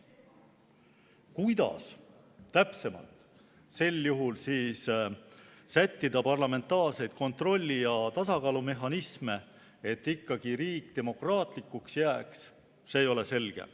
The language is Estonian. Kuidas täpsemalt sel juhul sättida parlamentaarseid kontrolli‑ ja tasakaalumehhanisme, et ikkagi riik demokraatlikuks jääks, see ei ole selge.